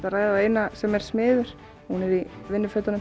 að ræða við eina sem er smiður hún er í